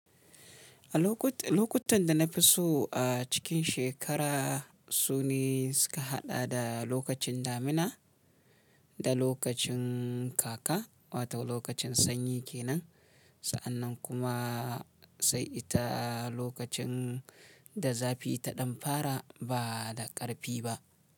A lokutan da na fi so a cikin shekara su ne suka haɗa da lokacin damina da lokacin kaka, wato lokacin sanyi kenan. Sa'annan kuma sai ita lokacin da zafi ta ɗan fara ba da ƙarfi ba.